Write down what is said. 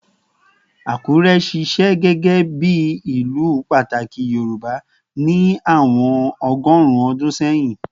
Akure ṣiṣẹ gẹgẹbi ilu pataki Yorùbá ni awọn ọgọrun ọdun sẹhin